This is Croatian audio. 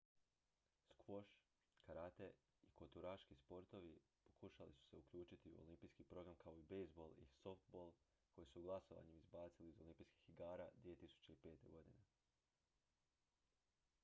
skvoš karate i koturaški sportovi pokušali su se uključiti u olimpijski program kao i bejzbol i softball koje su glasovanjem izbacili iz olimpijskih igara 2005. godine